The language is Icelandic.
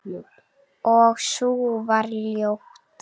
Og sú var ljót!